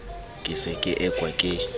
ke se ke ekwa ke